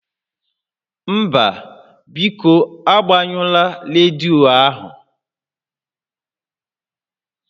Mba, biko agbanyụla rediyo ahụ